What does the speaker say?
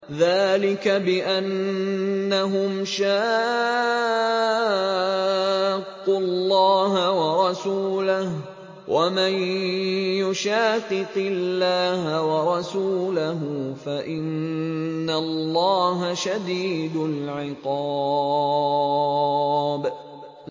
ذَٰلِكَ بِأَنَّهُمْ شَاقُّوا اللَّهَ وَرَسُولَهُ ۚ وَمَن يُشَاقِقِ اللَّهَ وَرَسُولَهُ فَإِنَّ اللَّهَ شَدِيدُ الْعِقَابِ